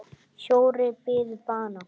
Fjórir biðu bana.